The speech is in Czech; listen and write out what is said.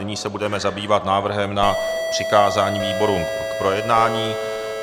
Nyní se budeme zabývat návrhem na přikázání výborům k projednání.